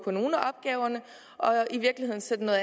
på nogle af opgaverne og i virkeligheden sætter